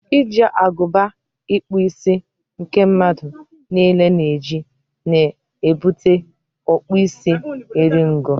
iji agụba ịkpụ isi nke mmadụ niile na-eji na ebute ọkpụ isi eri ngo.